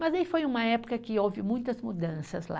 Mas aí foi uma época que houve muitas mudanças lá.